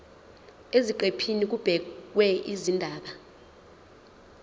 eziqephini kubhekwe izindaba